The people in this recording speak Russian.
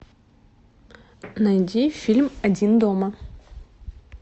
найди фильм один дома